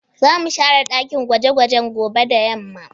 Za mu share ɗaki gwaje gwajen gobe da yamma